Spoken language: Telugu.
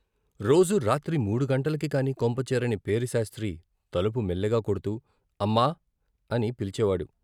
రోజూ రాత్రి మూడు గంటలకికాని కొంపచేరని పేరిశాస్త్రి తలుపు మెల్లిగా కొడ్తూ అమ్మా అని పిలిచేవాడు.